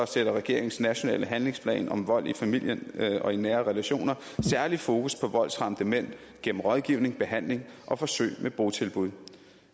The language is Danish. sætter regeringens nationale handlingsplan om vold i familien og i nære relationer særlig fokus på voldsramte mænd gennem rådgivning behandling og forsøg med botilbud